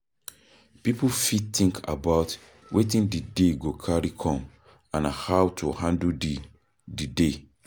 Pipo fit think about wetin di day go carry come and how to handle di di day